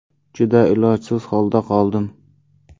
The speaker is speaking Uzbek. Juda ilojsiz holda qoldim.